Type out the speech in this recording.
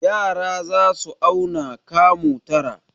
Yara za su auna kamu tara.